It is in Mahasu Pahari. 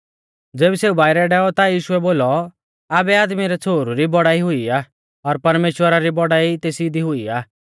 ज़ेबी सेऊ बाइरै डैऔ ता यीशुऐ बोलौ आबै आदमी रै छ़ोहरु री बौड़ाई हुई आ और परमेश्‍वरा री बौड़ाई तेसी दी हुई आ